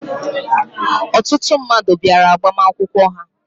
Ọtụtụ mmadụ bịara agbamakwụkwọ ha.